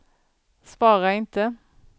svara inte